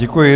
Děkuji.